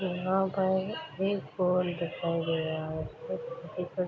यहाँ पर एक बॉल दिखाई दे रहा है --